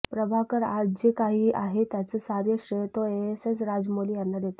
प्रभाकर आज जे काही आहे त्याचं सारं श्रेय तो एसएस राजमौली यांना देतो